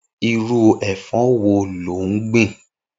Irù ẹfọ wò lò n gbin?